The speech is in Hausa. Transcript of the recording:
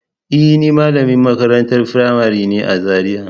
E, ni malamin makarantar firamari ne a Zariya.